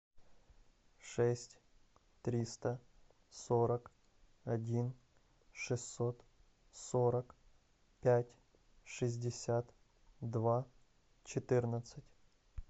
шесть триста сорок один шестьсот сорок пять шестьдесят два четырнадцать